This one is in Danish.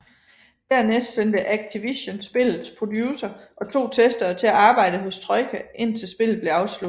Dernæst sendte Activision spillets producer og to testere til at arbejde hos Troika indtil spillet blev afsluttet